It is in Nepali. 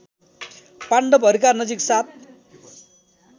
पाण्डवहरूका नजिक सात